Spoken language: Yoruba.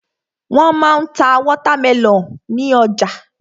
Wọ́n ma ń ta wọ́támẹlọ̀n ní ọjà.